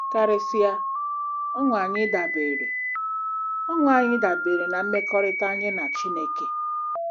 Karịsịa, ọṅụ anyị dabeere ọṅụ anyị dabeere na mmekọrịta anyị na Chineke.